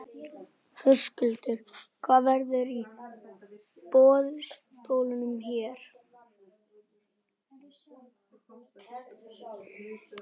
Höskuldur: Hvað verður á boðstólum hér?